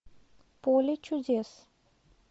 поле чудес